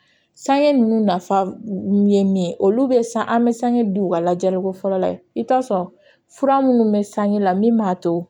Sange ninnu nafa ye min ye olu bɛ san an bɛ sange di u ka lajɛliko fɔlɔ la i bɛ t'a sɔrɔ fura minnu bɛ sanji la min b'a to